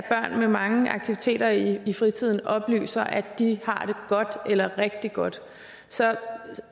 med mange aktiviteter i fritiden oplyser at de har det godt eller rigtig godt så